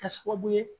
Kɛ sababu ye